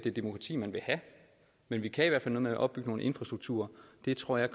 er demokrati man vil have men vi kan i hvert fald noget med at opbygge nogle infrastrukturer det tror jeg